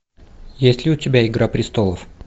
есть ли у тебя игра престолов